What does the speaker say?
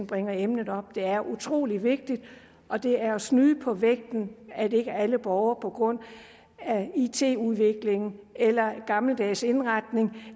bringe emnet op det er utrolig vigtigt og det er at snyde på vægten at ikke alle borgere på grund af it udviklingen eller gammeldags indretning